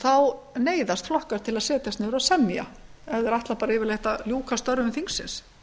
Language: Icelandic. þá neyðast flokkar til að setjast niður og semja ef þeir ætla yfirleitt að ljúka störfum þingsins